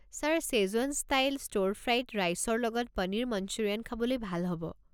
Sir Schezwan style stir fried ৰাইচৰ লগত paneer Manchurian খাবলৈ ভাল হ'ব।